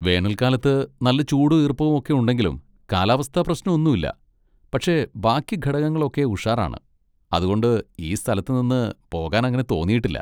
വേനൽക്കാലത്ത് നല്ല ചൂടും ഈർപ്പവും ഒക്കെ ഉണ്ടെങ്കിലും കാലാവസ്ഥ പ്രശ്നം ഒന്നും ഇല്ല, പക്ഷെ ബാക്കി ഘടകങ്ങളൊക്കെ ഉഷാറാണ്, അതുകൊണ്ട് ഈ സ്ഥലത്ത് നിന്ന് പോകാൻ അങ്ങനെ തോന്നിയിട്ടില്ല.